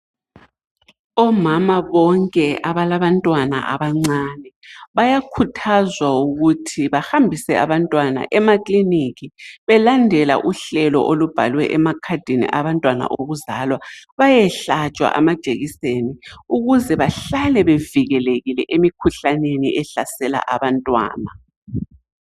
Omama bonke abalabantwana abancane bayakhuthazwa ukuthi bahambise abantwana emakilinika belandela uhlelo olubhalwe emakhadini abantwana okuzwala. Bayehlatshwa ama ijekiseni ukuze behlale bevikelekile emkhuhlaneni ehlasela abantwana.